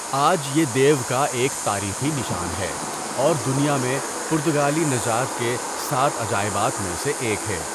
آج یہ دیو کا ایک تاریخی نشان ہے اور دنیا میں پرتگالی نژاد کے سات عجائبات میں سے ایک ہے۔